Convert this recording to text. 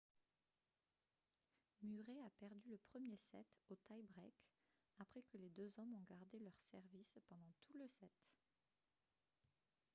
murray a perdu le premier set au tie break après que les deux hommes ont gardé leur service pendant tout le set